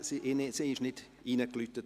Es wurde nicht geläutet.